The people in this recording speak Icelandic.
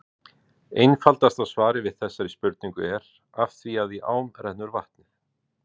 Einfaldasta svarið við þessari spurningu er: Af því að í ám rennur vatnið!